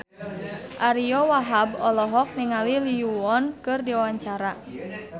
Ariyo Wahab olohok ningali Lee Yo Won keur diwawancara